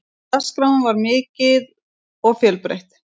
Dagskráin var mikil og fjölbreytileg.